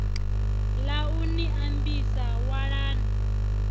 ḽa u ni ambisa walani